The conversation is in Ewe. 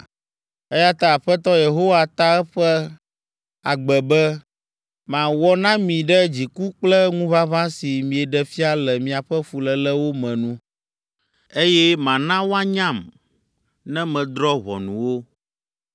Eya ta Aƒetɔ Yehowa ta eƒe agbe be, ‘Mawɔ na mi ɖe dziku kple ŋuʋaʋã si mieɖe fia le miaƒe fuléle wo me nu, eye mana woanyam ne medrɔ̃ ʋɔnu wo.